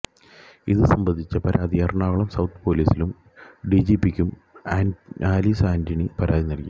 ഇത് സംബന്ധിച്ച പരാതി എറണാകുളം സൌത്ത് പോലീസിലും ഡി ജി പിക്കും ആല്വിന് ആന്റണി പരാതി നല്കി